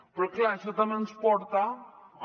però clar això també ens porta a